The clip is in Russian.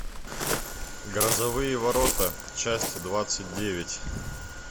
грозовые ворота часть двадцать девять